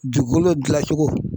Duukolo dilacogo